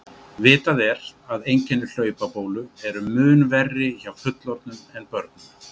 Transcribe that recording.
Vitað er að einkenni hlaupabólu eru mun verri hjá fullorðnum en börnum.